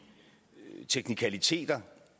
teknikaliteter